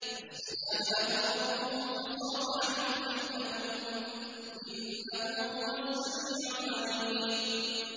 فَاسْتَجَابَ لَهُ رَبُّهُ فَصَرَفَ عَنْهُ كَيْدَهُنَّ ۚ إِنَّهُ هُوَ السَّمِيعُ الْعَلِيمُ